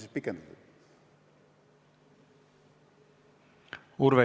Urve Tiidus, palun!